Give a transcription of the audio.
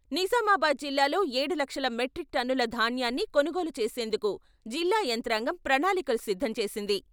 నిజామాబాద్ జిల్లాలో ఏడు లక్షల మెట్రిక్ టన్నుల ధాన్న్యాన్ని కొనుగోలు చేసేందుకు జిల్లా యంత్రాంగం ప్రణాళికలు సిద్ధం చేసింది.